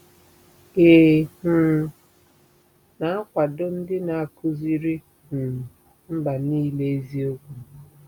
Ị̀ um na-akwado ndị na-akụziri um mba niile eziokwu?